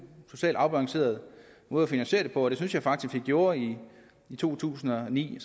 socialt afbalanceret måde at finansiere det på og det synes jeg faktisk vi gjorde i to tusind og ni